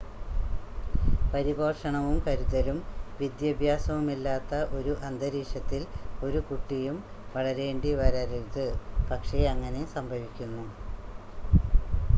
പരിപോഷണവും കരുതലും വിദ്യാഭ്യാസവുമില്ലാത്ത ഒരു അന്തരീക്ഷത്തിൽ ഒരു കുട്ടിയും വളരേണ്ടിവരരുത് പക്ഷേ അങ്ങനെ സംഭവിക്കുന്നു